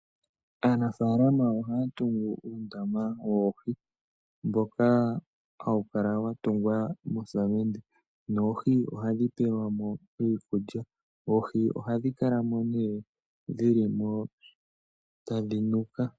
Aanafaalama ohaya tungu uundama woohi mboka hawu kala wa tungwa moosamende noohi ohadhi pewelwa mo iikulya. Oohi ohadhi kala mo nee dhili mo tadhi nuka.